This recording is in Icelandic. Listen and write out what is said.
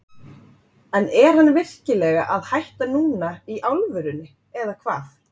En er hann virkilega að hætta núna í alvörunni eða hvað?